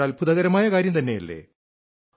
ഇതൊരു അത്ഭുതകരമായ കാര്യം തന്നെയല്ലേ